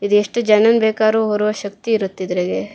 ಇದು ಎಷ್ಟ ಜನನ ಬೇಕಾರೂ ಹೊರುವ ಶಕ್ತಿ ಇರುತ್ತೆ ಇದ್ರಾಗೆ.